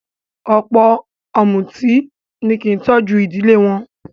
Ọ̀pọ̀ ọ̀mùtí ni kí í tọ́jú ìdílé wọn